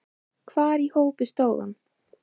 Hvar í hópi stóð hann?